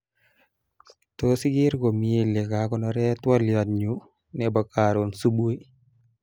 Tos iker komii lekakonore twoliot nyu nebo karon subui